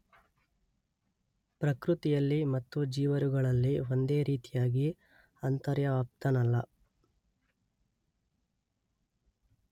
ಪ್ರಕೃತಿಯಲ್ಲಿ ಮತ್ತು ಜೀವರುಗಳಲ್ಲಿ ಒಂದೇ ರೀತಿಯಾಗಿ ಅಂತರ್ವ್ಯಾಪ್ತನಲ್ಲ.